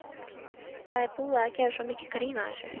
Það er búið að gera svo mikið grín að þessu.